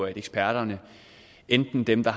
eksperterne enten dem der